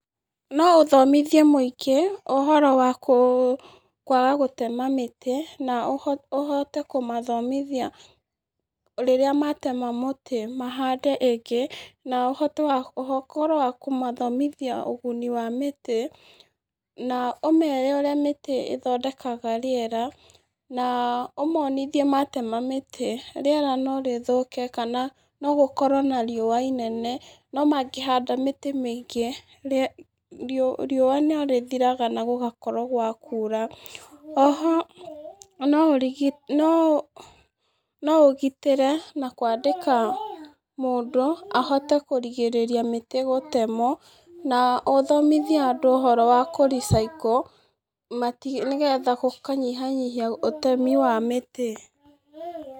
No ũthomithie mũingĩ ũhoro wa kwaga gũtema mĩtĩ, na ũhote kũmathomithia rĩrĩa matema mũtĩ mahande ĩngĩ, na ũhote oho ũkorwo wa kũmathomithia ũguni wa mĩtĩ, na ũmere ũrĩa mĩtĩ ĩthondekaga rĩera. Na ũmonithie matema mĩtĩ rĩera no rĩthũke kana no gũkorwo na rĩũa inene. No mangĩhanda mĩtĩ mĩingĩ rĩũa nĩ rĩthiraga na gũgakorwo gwa kuura. Oho no ũgitĩre na kwandĩka mũndũ ahote kũrigĩrĩria mĩtĩ gũtemwo na ũthomithie andũ ũhoro wa kũ recycle, nĩgetha gũkanyihanyihia ũtemi wa mĩtĩ.